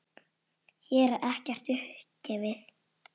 Hér er ekkert upp gefið.